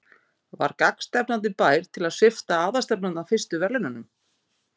Var gagnstefnandi bær til að svipta aðalstefnanda fyrstu verðlaunum?